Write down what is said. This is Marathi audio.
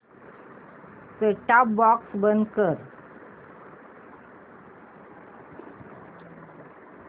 सेट टॉप बॉक्स बंद कर